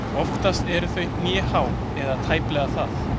Oftast eru þau hnéhá eða tæplega það.